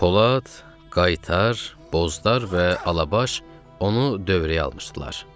Polad, Qaytar, Bozlar və Alabaş onu dövrəyə almışdılar.